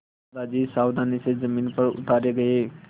दादाजी सावधानी से ज़मीन पर उतारे गए